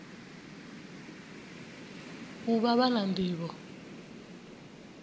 u vha vha na nḓivho